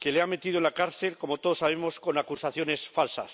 que le ha metido en la cárcel, como todos sabemos, con acusaciones falsas.